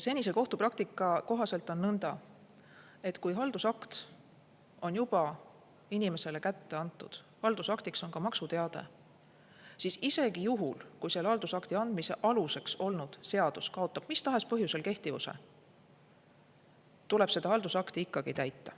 Senise kohtupraktika kohaselt on nõnda, et kui haldusakt on juba inimesele kätte antud, ja haldusaktiks on ka maksuteade, siis isegi juhul, kui selle haldusakti andmise aluseks olnud seadus kaotab mis tahes põhjusel kehtivuse, tuleb seda haldusakti ikkagi täita.